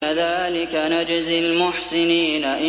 كَذَٰلِكَ نَجْزِي الْمُحْسِنِينَ